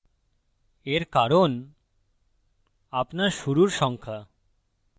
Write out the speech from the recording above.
এর কারণ আপনার শুরুর সংখ্যা